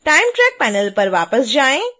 time track panel पर वापस जाएँ